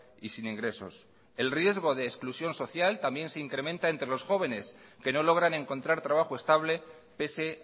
y sin ingresos el riesgo de exclusión social también se incrementa entre los jóvenes que no logran encontrar trabajo estable pese